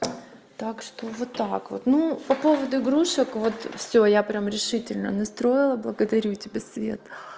так что вот так вот ну по поводу игрушек вот всё я прямо решительно настроила благодарю тебя свет